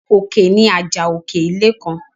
Òkè ni àjà òkè ilé kan.